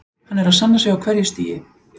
Hann er að sanna sig á hverju stigi.